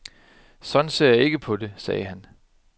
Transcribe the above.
Sådan ser jeg ikke på det, sagde han.